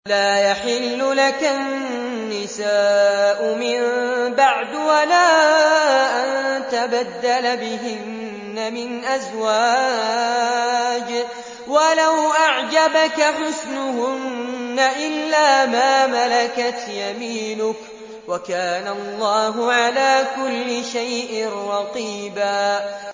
لَّا يَحِلُّ لَكَ النِّسَاءُ مِن بَعْدُ وَلَا أَن تَبَدَّلَ بِهِنَّ مِنْ أَزْوَاجٍ وَلَوْ أَعْجَبَكَ حُسْنُهُنَّ إِلَّا مَا مَلَكَتْ يَمِينُكَ ۗ وَكَانَ اللَّهُ عَلَىٰ كُلِّ شَيْءٍ رَّقِيبًا